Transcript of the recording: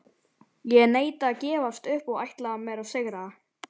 Ég neita að gefast upp og ætla mér að sigra.